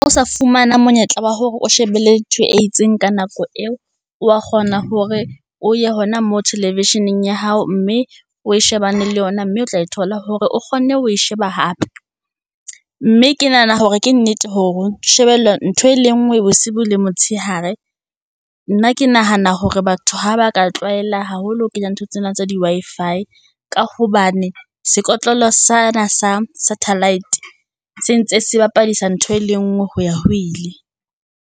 sa fumana monyetla wa hore o shebelle ntho e itseng ka nako eo, wa kgona hore o ye hona mo television-eng ya hao, mme o shebane le yona, mme o tla e thola hore o kgonne ho e sheba hape. Mme ke nahana hore ke nnete hore ho shebella ntho e le ngwe bosibu le motshehare. Nna ke nahana hore batho ha ba ka tlwaela haholo ho kenya ntho tsena tsa di Wi-Fi, ka hobane sekotlolo sena sa satelite se ntse se bapadisa ntho e le ngwe ho ya ho ile.